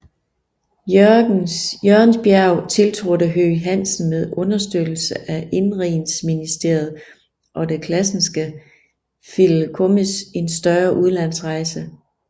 Jørgensbjerg tiltrådte Høegh Hansen med understøttelse af Indenrigsministeriet og det Classenske Fideikommis en større udlandsrejse